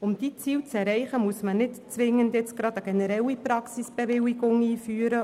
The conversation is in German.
Um diese Ziele zu erreichen, muss man jetzt nicht zwingend eine generelle Praxisbewilligung einführen.